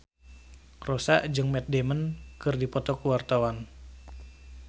Rossa jeung Matt Damon keur dipoto ku wartawan